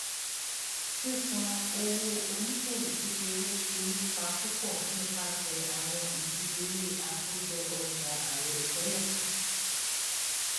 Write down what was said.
sisan owo oniṣòwo kekere ti ni ipa pupọ nipasẹ awọn idiyele akojo oja airotẹlẹ